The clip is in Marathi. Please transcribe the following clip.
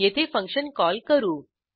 येथे फंक्शन कॉल करू